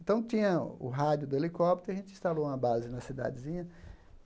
Então, tinha o rádio do helicóptero e a gente instalou uma base na cidadezinha.